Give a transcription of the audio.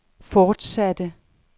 fortsatte